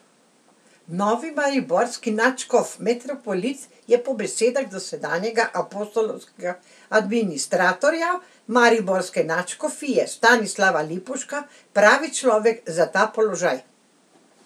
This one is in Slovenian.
Novi mariborski nadškof metropolit je po besedah dosedanjega apostolskega administratorja mariborske nadškofije Stanislava Lipovška pravi človek za ta položaj.